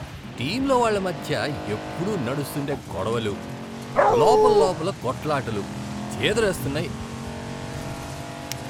టీంలోవాళ్ళ మధ్య ఎప్పుడూ నడుస్తుండే గొడవలు, లోపల్లోపల కొట్లాటలు చీదరేస్తున్నాయి